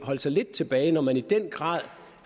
holde sig lidt tilbage når man i den grad